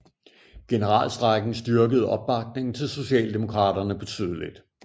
Generalstrejken styrkede opbakningen til socialdemokraterne betydeligt